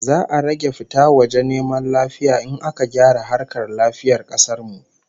Za'a rage fita waje neman lafiya in aka gyara harkar lafiyar kasar mu